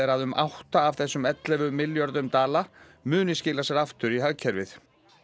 að um átta af þessum ellefu milljörðum dala muni skila sér aftur inn í hagkerfið